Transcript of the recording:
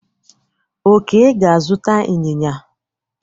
Oke ga-azụta inyinya.